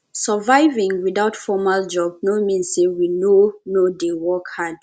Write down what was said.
surviving without formal job no mean sey we no no dey work hard